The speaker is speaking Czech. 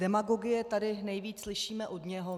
Demagogie tady nejvíc slyšíme od něj.